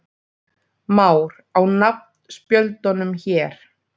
Már: Á nafnspjöldunum hér.